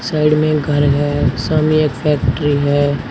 Side में एक घर है सामने एक फैक्ट्री है।